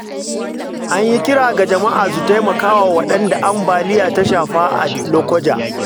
An yi kira ga jama’a su taimaka wa waɗanda ambaliya ta shafa a Lokoja.